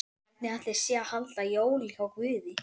Hvernig ætli sé að halda jól hjá Guði?